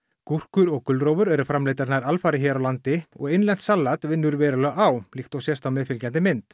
gúrkur og gulrófur eru framleiddar nær alfarið hér á landi og innlent salat vinnur verulega á líkt og sést á meðfylgjandi mynd